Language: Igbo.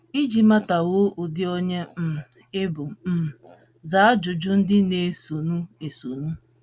Iji matakwuo ụdị onye um ị bụ um, zaa ajụjụ ndị na - esonụ esonụ: